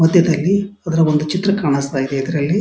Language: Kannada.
ಮದ್ಯದಲ್ಲಿ ಅದ್ರಲ್ಲಿ ಒಂದು ಚಿತ್ರ ಕಾಣಿಸ್ತಾಯಿದೆ ಇದರಲ್ಲಿ --